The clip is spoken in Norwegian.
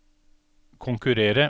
konkurrere